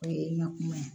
O ye n ka kuma ye